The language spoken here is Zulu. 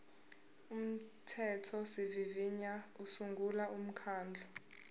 umthethosivivinyo usungula umkhandlu